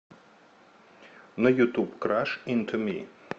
на ютуб краш инто ми